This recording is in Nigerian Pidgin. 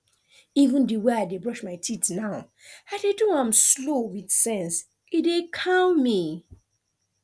even the way i dey brush my teeth now i dey do am slow with sense e dey calm me